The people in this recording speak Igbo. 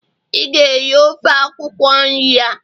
ị ga-eri ofe akwukwo nri a!